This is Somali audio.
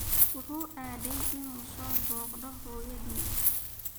Wuxuu aaday inuu soo booqdo hooyadii